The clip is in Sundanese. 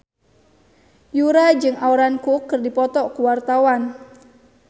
Yura jeung Aaron Kwok keur dipoto ku wartawan